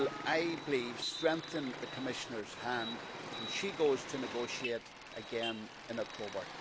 I believe that will strengthen the Commissioner's hand when she goes to negotiate again in October.